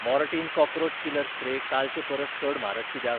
Mortein cockroach killer spray कालचे परस चड म्हारग कित्याक ?